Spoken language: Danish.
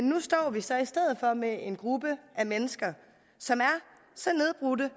nu står vi så i stedet for med en gruppe af mennesker som er så nedbrudte